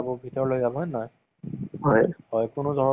তেতিয়াহলে আমি গম পাওঁ যে সেইটো সময়ত মানে পৰিস্থিতি কেনেকুৱা আছিলে।